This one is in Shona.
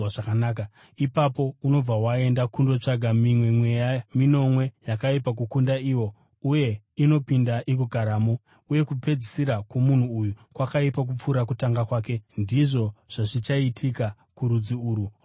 Ipapo unobva waenda kundotsvaka mimwe mweya minomwe yakaipa kukunda iwo, uye inopinda igogaramo. Uye kupedzisira kwomunhu uyu kwakaipa kupfuura kutanga kwake. Ndizvo zvazvichaita kurudzi urwu rwakaipa.”